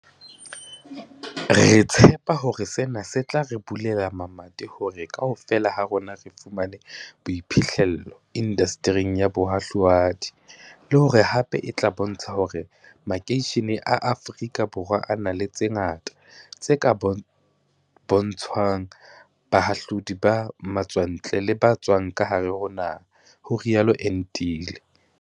"Re tshepa hore sena se tla re bulela mamati hore kaofela ha rona re fumane boiphihle llo indastering ya bohahlua di, le hore hape e tla bontsha hore makeishene a Afrika Borwa a na le tse ngata tse ka bontshwang bahahlaudi ba matswantle le ba tswang ka hare ho naha" ho rialo Entile.